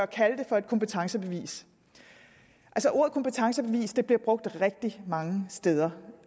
kalde det for et kompetencebevis ordet kompetencebevis bliver brugt rigtig mange steder